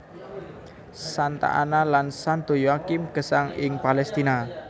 Santa Anna lan Santo Yoakhim gesang ing Palestina